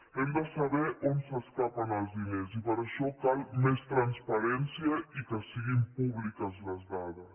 hem de saber on s’escapen els diners i per això cal més transparència i que siguin públiques les dades